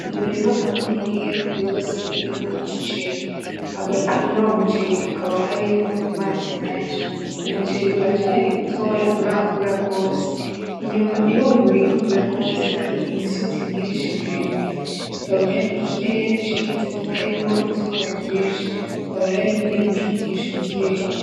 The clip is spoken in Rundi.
Umurima munini gose urimwo umuceri, hagati muruyo muceri habaka harimwo amazi menshi. Umuceri uracari mutoya nturakura gose, inyuma yuwo murima hakaba hari imisozi myinshi miremire hakaba hari ikirere ciza kitarimwo izuba ryinshi ,hakaba hari n'ibicu vyinshi mu kirere.